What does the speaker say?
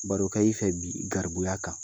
Barokɛ i fɛ bi garibuya kan?